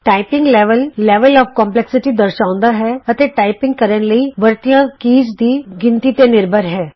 typing level typing ਦੀ ਮੁਸ਼ਕਿਲ ਦਰਸਾਉਂਦਾ ਹੈ ਅਤੇ ਟਾਈਪ ਕਰਨ ਲਈ ਵਰਤਿਆਂ ਕੀਜ਼ ਦੀ ਗਿਣਤੀ ਤੇ ਨਿਰਭਰ ਹੈ